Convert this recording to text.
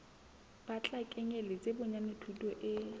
tla kenyeletsa bonyane thuto e